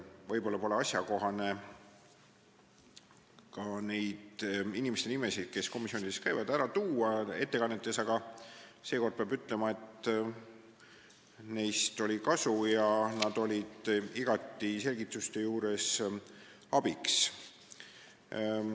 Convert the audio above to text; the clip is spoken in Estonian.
Võib-olla pole asjakohane nende inimeste nimesid, kes komisjonis käivad, alati ettekannetes ära tuua, aga seekord peab ütlema, et neist oli kasu, nad olid selgituste andmisel igati abiks.